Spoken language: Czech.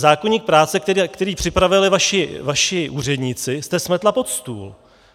Zákoník práce, který připravili vaši úředníci, jste smetla pod stůl.